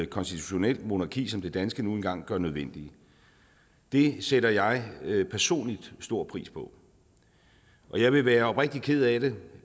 konstitutionelt monarki som det danske nu engang gør nødvendige det sætter jeg personligt stor pris på og jeg ville være oprigtigt ked af det